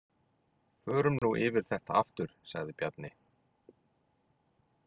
Förum nú yfir þetta aftur, sagði Bjarni.